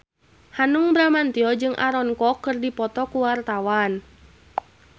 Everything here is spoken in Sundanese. Hanung Bramantyo jeung Aaron Kwok keur dipoto ku wartawan